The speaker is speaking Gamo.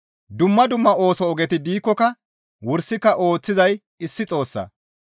Dumma dumma ooso ogeti diikkoka wursika ooththizay issi Xoossaa.